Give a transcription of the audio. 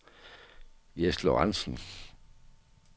Jess Lorentzen